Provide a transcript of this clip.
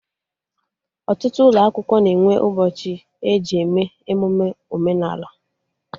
Ọtụtụ ụlọ akwụkwọ na-enwe ụbọchị eji eme emụme omenala